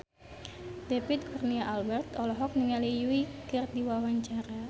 David Kurnia Albert olohok ningali Yui keur diwawancara